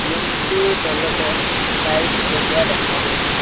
Room টোৰ তলতে tiles লগোৱা দেখা গৈছে।